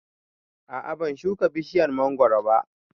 A'a ban shuka bishiyar mangoro ba